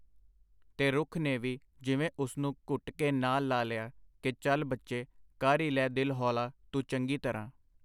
ਤੇ ਰੁੱਖ ਨੇ ਵੀ ਜਿਵੇ ਉਸਨੂੰ ਘੁੱਟ ਕੇ ਨਾਲ ਲਾ ਲਿਆ ,ਕਿ ਚੱਲ ਬੱਚੇ, ਕਰ ਈ ਲੈ ਦਿਲ ਹੌਲ਼ਾ ਤੂੰ ਚੰਗੀ ਤਰਾਂ .